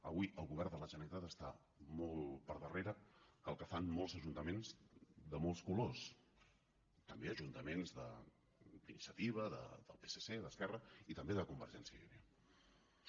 avui el govern de la generalitat està molt per darrere del que fan molts ajuntaments de molts colors també ajuntaments d’iniciativa del psc d’esquerra i també de convergència i unió